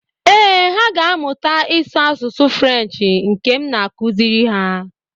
Ee, ha ga-amụta ịsụ asụsụ Frenshi nke m na-akụziri ha.